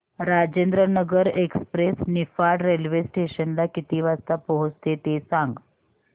Rajendranagar express Niphad railway station ला किती वाजता पोहचते ते सांग